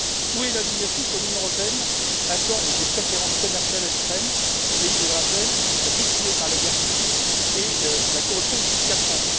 Où est l'indignation quand l'Union européenne accorde des préférences commerciales à l'Ukraine, un pays, je le rappelle, affligé par la guerre civile et la corruption depuis quatre ans.